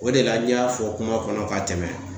O de la, n y'a fɔ kuma kɔnɔ ka tɛmɛ.